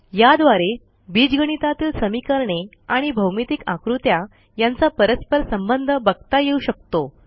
याद्वारे बीजगणितातील समीकरणे आणि भौमितिक आकृत्या यांचा परस्पर संबंध बघता येऊ शकतो